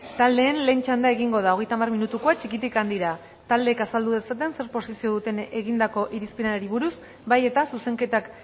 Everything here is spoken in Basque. taldeen lehen txanda egingo da hogeita hamar minutukoa txikitik handira taldeek azaldu dezaten zer posizio duten egindako irizpenari buruz bai eta zuzenketak